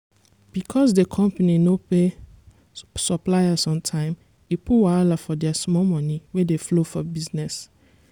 because d company no pay suppliers on time e put wahala for their small moni wey dey flow for business.